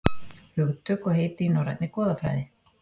Hugtök og heiti í norrænni goðafræði.